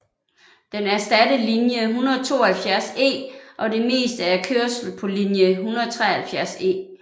Den erstattede linje 172E og det meste af kørslen på linje 173E